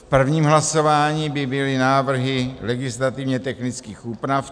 V prvním hlasování by byly návrhy legislativně technických úprav.